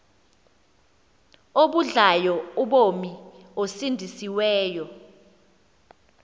abudlayo ubomi osindisiweyo